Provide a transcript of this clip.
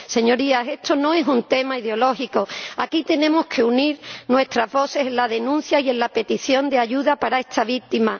Señorías, esto no es un tema ideológico aquí tenemos que unir nuestras voces en la denuncia y en la petición de ayuda para esta víctima.